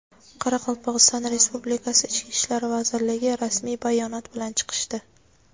Qoraqalpog‘iston Respublikasi Ichki ishlar vazirligi rasmiy bayonot bilan chiqishdi.